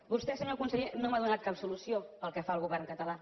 vostè senyor conseller no m’ha donat cap solució pel que fa al govern català